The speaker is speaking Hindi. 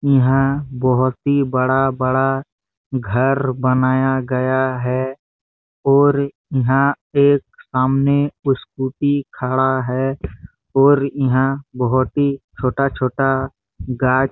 यहाँ बहोत ही बड़ा बड़ा घर बनाया गया है और यहाँ एक सामने स्कूटी खड़ा है और यहाँ बहोत ही छोटा- छोटा गाज--